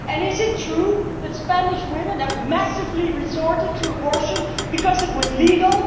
Is it true that Spanish women have massively resorted to abortion because it was legal?